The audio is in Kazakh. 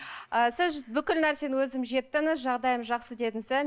ы сіз бүкіл нәрсені өзім жеттіңіз жағдайым жақсы дедіңіз ә